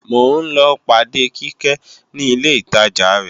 mò ń lọ pàde Kíkẹ́ ní ilé ìtajà rẹ